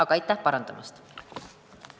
Aga aitäh parandamast!